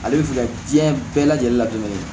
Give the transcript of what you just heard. Ale bɛ fɛ ka diɲɛ bɛɛ lajɛlen la dɛmɛni